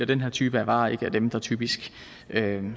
den her type af varer ikke er dem der typisk